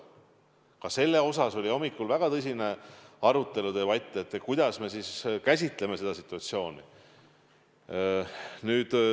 Ka selle üle oli hommikul väga tõsine arutelu, kuidas me siis käsitleme seda situatsiooni.